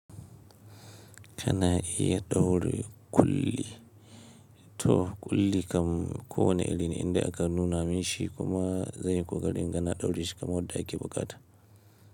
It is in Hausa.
Kana iya ɗaure ƙulli? To ƙulli kam kowane irin indai aka nuna minshi kuma zanyi ƙoƙari inga na ɗaure shi kamar yadda ake bukata.